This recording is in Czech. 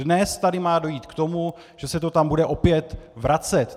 Dnes tu má dojít k tomu, že se to tam bude opět vracet.